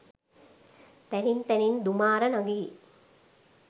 තැනින් තැනින් දුමාර නැගි